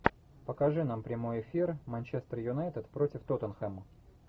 покажи нам прямой эфир манчестер юнайтед против тоттенхэма